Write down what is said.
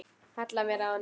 Halla mér að honum.